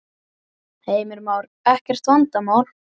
Heimir Már: Ekkert vandamál?